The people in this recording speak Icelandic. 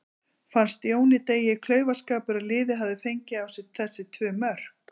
Fannst Jóni Degi klaufaskapur að liðið hafi fengið á sig þessi tvö mörk?